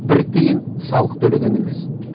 бір тиын салық төлеген емес